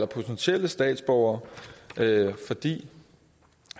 potentielle statsborgere fordi